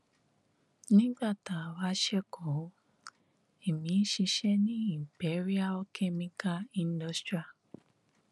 nígbà tá a wá sẹkọọ ẹmí ń ṣiṣẹ ní imperial chemical industria